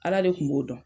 Ala de kun b'o dɔn